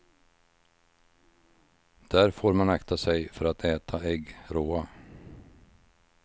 Där får man akta sig för att äta ägg råa.